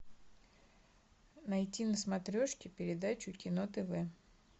найти на смотрешке передачу кино тв